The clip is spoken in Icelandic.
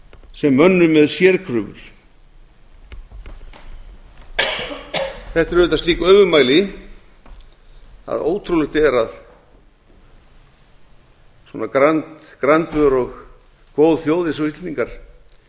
sem mönnum með sérkröfur þetta eru auðvitað slík öfugmæli að ótrúlegt er að svona grandvör og góð þjóð eins og